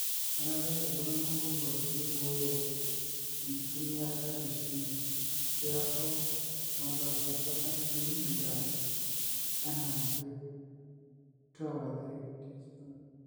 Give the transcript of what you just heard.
Kenare iltungana moruak niboyo enkitumiata eshimbi piaku 1,500milligrams enaake (2/3tsp.